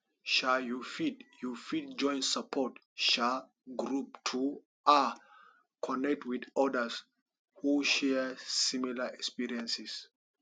um you fit you fit join support um group to um connect with odas who share similar experiences